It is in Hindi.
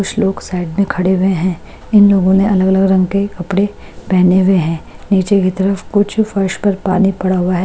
कुछ लोग साइड में खड़े हुए हैं इन लोगों ने अलग अलग रंग के कपड़े पहने हुए हैं नीचे की तरफ कुछ फर्श पर पानी पड़ा हुआ है।